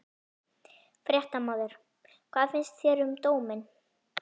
Fréttamaður: Hvað finnst þér um dóminn?